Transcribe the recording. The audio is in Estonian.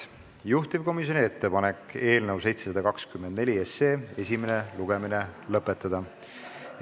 Juhtivkomisjoni ettepanek on eelnõu 724 esimene lugemine lõpetada.